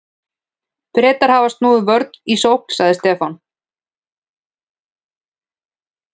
Bretar hafa snúið vörn í sókn, sagði Stefán.